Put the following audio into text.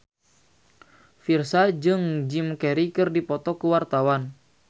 Virzha jeung Jim Carey keur dipoto ku wartawan